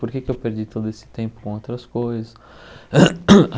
Por que é que eu perdi todo esse tempo com outras coisas?